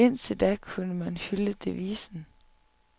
Indtil da kunne man hylde devisen.